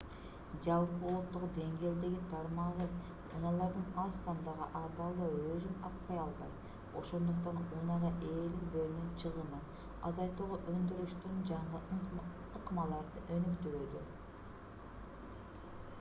жалпы улуттук деңгээлдеги тармагы унаалардын аз сандагы абалда өзүн актай албайт ошондуктан унаага ээлик болуунун чыгымын азайтууга өндүрүштүн жаңы ыкмаларды өнүктүрүүдө